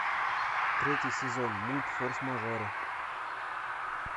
третий сезон мульт форс мажоры